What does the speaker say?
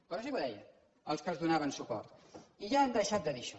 però sí que ho deien els que els donaven suport i ja han deixat de dir això